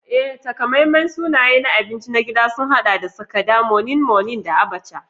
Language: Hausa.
Ee, takamaiman sunaye na abinci na gida sun haɗa da Sakada, Moninmonin, da Abacha.